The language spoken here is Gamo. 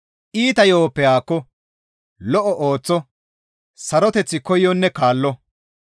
Iita yo7oppe haakko, lo7o ooththo; saroteth koyonne kaallo.